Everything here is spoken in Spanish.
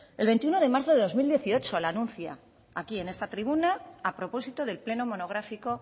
el veintiuno de marzo de dos mil dieciocho la anuncia aquí en esta tribuna a propósito del pleno monográfico